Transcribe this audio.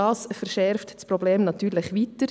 Dies verschärft das Problem natürlich zusätzlich.